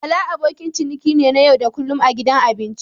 Bala abokin ciniki ne na yau da kullun a gidan abinci.